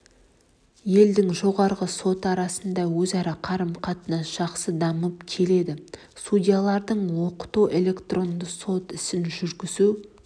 елдің жоғарғы соты арасында өзара қарым-қатынас жақсы дамып келеді судьяларды оқыту электронды сот ісін жүргізу